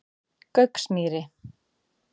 Gauksmýri